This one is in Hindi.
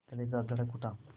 कलेजा धड़क उठा